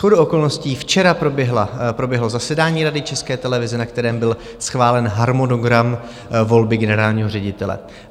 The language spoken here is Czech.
Shodou okolností včera proběhlo zasedání Rady České televize, na kterém byl schválen harmonogram volby generálního ředitele.